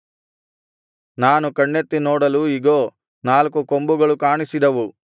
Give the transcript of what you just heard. ನಾನು ಕಣ್ಣೆತ್ತಿ ನೋಡಲು ಇಗೋ ನಾಲ್ಕು ಕೊಂಬುಗಳು ಕಾಣಿಸಿದವು